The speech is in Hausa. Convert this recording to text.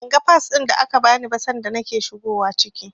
Ban ga Fas ɗin da aka bani ba sanda nake shigowa ciki.